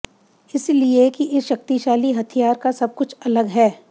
इसलिए कि इस शक्तिशाली हथियार का सब कुछ अलग है